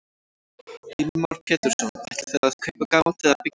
Heimir Már Pétursson: Ætlið þið að kaupa gamalt eða byggja nýtt?